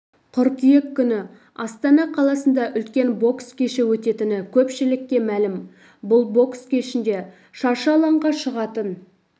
қыркүйек күні астана қаласында үлкен бокс кеші өтетіні көпшілікке мәлім бұл бокс кешінде шаршы алаңға шығатын